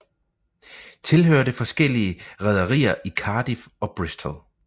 Tilhørte forskellige rederier i Cardiff og Bristol